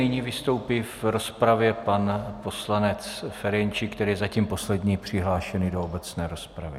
Nyní vystoupí v rozpravě pan poslanec Ferjenčík, který je zatím poslední přihlášený do obecné rozpravy.